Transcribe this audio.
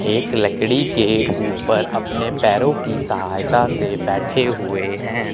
एक लकड़ी के ऊपर अपने पैरों की सहायता से बैठे हुएं हैं।